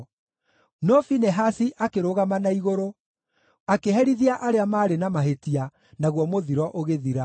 No Finehasi akĩrũgama na igũrũ, akĩherithia arĩa maarĩ na mahĩtia, naguo mũthiro ũgĩthira.